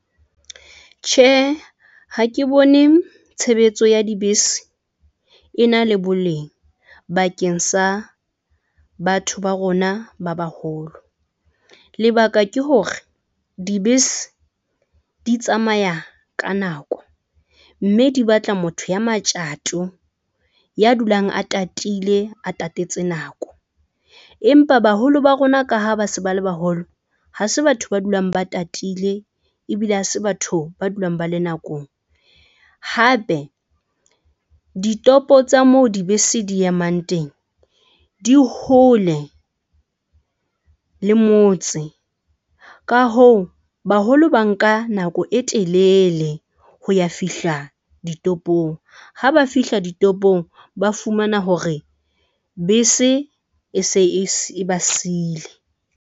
Tjhe, ha ke bone tshebetso ya dibese ena le boleng bakeng sa batho ba rona ba baholo. Lebaka ke hore dibese di tsamaya ka nako mme di batla motho ya matjato. Ya dulang a tatile a tatetse nako empa baholo ba rona ka ha ba se ba le baholo, ha se batho ba dulang ba tatile, e bile ha se batho ba dulang ba le nakong hape, ditopo tsa moo dibese di emang teng, di hole le motse ka hoo baholo, ba nka nako e telele ho ya fihla ditopong ha ba fihla ditopong, ba fumana hore bese e se e e ba siile.